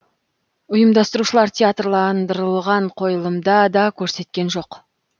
ұйымдастырушылар театрландырылған қойылымды да көрсеткен жоқ